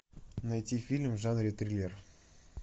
найти фильм в жанре триллер